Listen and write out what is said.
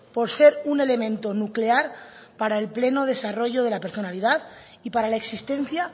por ser un elemento nuclear para el pleno desarrollo de la personalidad y para la existencia